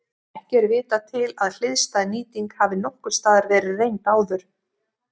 Ekki er vitað til að hliðstæð nýting hafi nokkurs staðar verið reynd áður.